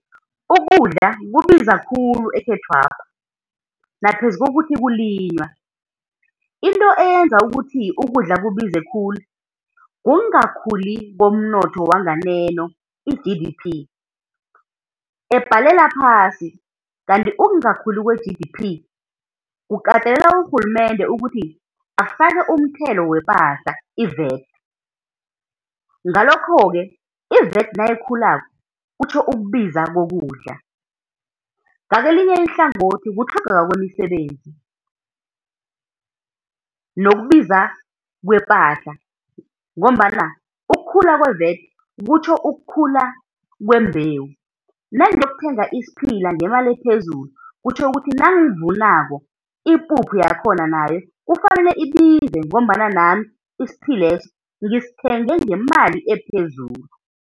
Ukudla kubiza khulu ekhethwapha, naphezu kokuthi kulinywa. Into eyenza ukuthi ukudla kubize khulu kungakhuli komnotho wanganeno i-G_D_P, ebhalela phasi. Kanti ukungakhuli kwe-G_D_P, kukatelela urhulumende ukuthi afake umthelo wepahla i-V_A_T, ngalokho-ke i-V_A_T nayikhulako kutjho ukubiza kokudla. Ngakelinye ihlangothi kutlhogeka kwemisebenzi, nokubiza kwepahla ngombana ukukhula kwe-V_A_T kutjho ukukhula kwembewu, nangiyokuthenga isiphila ngemali ephezulu kutjho ukuthi nangivunako, ipuphu yakhona nayo kufanele ibize ngombana nami isiphileso ngisithenge ngemali ephezulu.